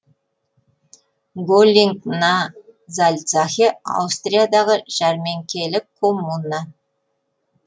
голлинг на зальцахе аустриядағы жәрменкелік коммуна